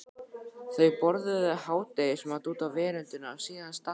Þau borðuðu hádegismat úti á veröndinni og síðan stakk